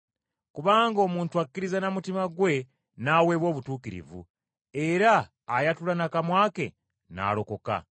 Kubanga omuntu akkiriza na mutima gwe n’aweebwa obutuukirivu, era ayatula na kamwa ke n’alokoka.